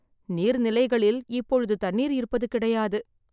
நீர்நிலைகளில் இப்பொழுது தண்ணீர் இருப்பது கிடையாது.